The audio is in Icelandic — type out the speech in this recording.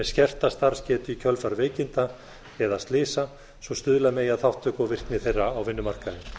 skerta starfsgetu í kjölfar veikinda eða slysa svo stuðla megi að þátttöku og virkni þeirra á vinnumarkaði